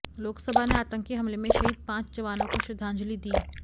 लोकसभा ने आतंकी हमले में शहीद पांच जवानों को श्रद्धांजलि दी